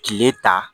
Tile ta